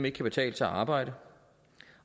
ikke kan betale sig at arbejde